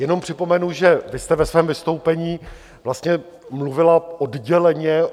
Jenom připomenu, že vy jste ve svém vystoupení vlastně mluvila odděleně.